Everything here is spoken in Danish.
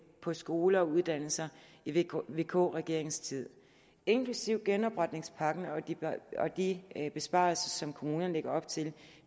på skoler og uddannelser i vk vk regeringens tid inklusive genopretningspakken og de besparelser som kommunerne lægger op til